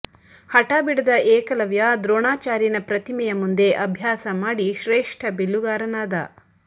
ಹಠ ಬಿಡದ ಏಕಲವ್ಯ ದ್ರೋಣಾಚಾರ್ಯನ ಪ್ರತಿಮೆಯ ಮುಂದೆ ಅಭ್ಯಾಸ ಮಾಡಿ ಶ್ರೇಷ್ಠ ಬಿಲ್ಲುಗಾರನಾದ